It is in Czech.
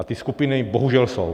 A ty skupiny bohužel jsou.